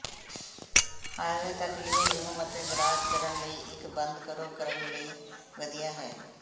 hallway ਤੱਕ living room ਅਤੇ garage ਕਰਨ ਲਈ ਇੱਕ ਬੰਦ ਕਰੋ ਕਰਨ ਲਈ ਵਧੀਆ ਹੈ